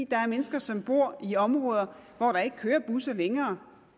der er mennesker som bor i områder hvor der ikke kører busser længere